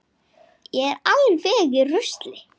Ég er alveg í rusli.